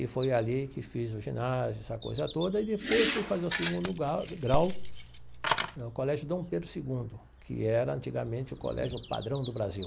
E foi ali que fiz o ginásio, essa coisa toda, e depois fui fazer o segundo gau grau no Colégio Dom Pedro Segundo, que era, antigamente, o colégio padrão do Brasil.